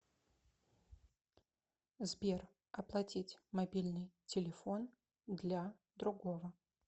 сбер оплатить мобильный телефон для другого